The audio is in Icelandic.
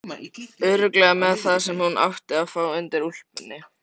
Örugglega með það sem hún átti að fá undir úlpunni.